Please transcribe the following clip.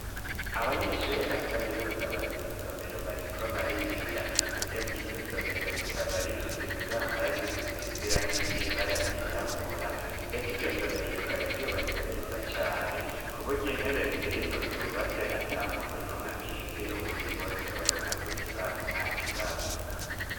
abanyeshure ba kaminuza bari mw' isomero bariko bariga ndetse iryo somero rikaba rifise ibibambazi bisizirangi ryibara ryirabura ndetse iryo somero rikaba ryubatse neza cane kuburya intebe zirimwo zubatse atamuntu n'umwe akingira uwundi bose babona ku kibaho ntakibazo